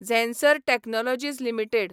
Zensar Technologies limited